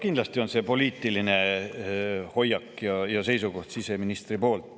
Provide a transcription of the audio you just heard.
Kindlasti on see siseministri poliitiline hoiak ja seisukoht.